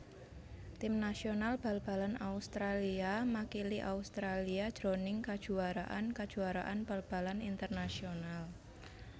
Tim nasional bal balan Australia makili Australia jroning kajuwaraan kajuwaraan bal balan internasional